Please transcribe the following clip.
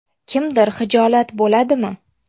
Kimdir xijolat bo‘ladimi?.